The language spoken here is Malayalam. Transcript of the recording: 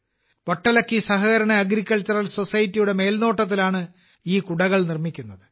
'വട്ടലക്കി സഹകരണ അഗ്രികൾച്ചറൽ സൊസൈറ്റി'യുടെ മേൽനോട്ടത്തിലാണ് ഈ കുടകൾ നിർമ്മിക്കുന്നത്